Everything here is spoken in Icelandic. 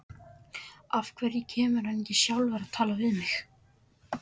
Af hverju kemur hann ekki sjálfur og talar við mig?